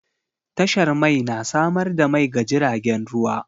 Tashar mai na samar da mai ga jiragen ruwa.